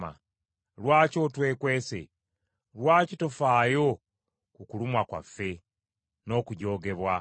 Lwaki otwekwese? Lwaki tofaayo ku kulumwa kwaffe n’okujoogebwa?